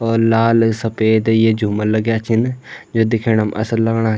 और लाल सपेद ये झूमर लग्याँ छिन यु दिखेणाम असल लगणा।